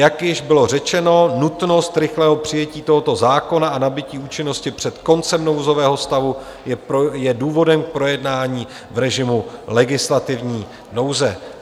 Jak již bylo řečeno, nutnost rychlého přijetí tohoto zákona a nabytí účinnosti před koncem nouzového stavu je důvodem k projednání v režimu legislativní nouze.